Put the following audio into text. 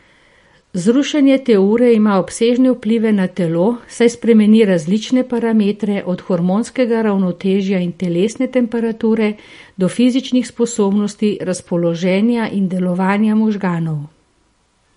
Zrušenje te ure ima obsežne vplive na telo, saj spremeni različne parametre, od hormonskega ravnotežja in telesne temperature do fizičnih sposobnosti, razpoloženja in delovanja možganov.